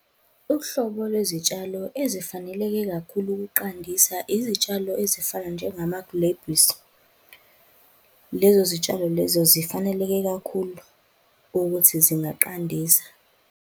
Uhlobo lwezitshalo ezifaneleke kakhulu ukuqandisa izitshalo ezifana njengamagrebhisi. Lezo zitshalo lezo zifaneleke kakhulu ukuthi zingaqandisa.